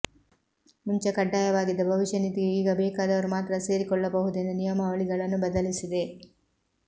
ಮುಂಚೆ ಕಡ್ಡಾಯವಾಗಿದ್ದ ಭವಿಷ್ಯ ನಿಧಿಗೆ ಈಗ ಬೇಕಾದವರು ಮಾತ್ರ ಸೇರಿಕೊಳ್ಳಬಹುದೆಂದು ನಿಯಮಾವಳಿಗಳನ್ನು ಬದಲಿಸಿದೆ